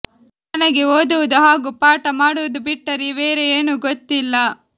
ನನಗೆ ಓದುವುದು ಹಾಗೂ ಪಾಠ ಮಾಡುವುದು ಬಿಟ್ಟರೆ ಬೇರೆ ಏನೂ ಗೊತ್ತಿಲ್ಲ